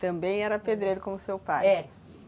Também era pedreiro como seu pai? É.